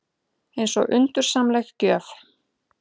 Eins og undursamleg gjöf.